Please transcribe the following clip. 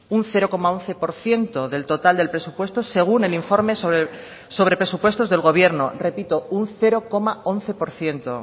un cero coma once por ciento del total del presupuesto según el informe sobre presupuestos del gobierno repito un cero coma once por ciento